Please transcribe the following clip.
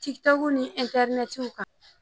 Tikitɔku ni ɛntɛrinɛti kan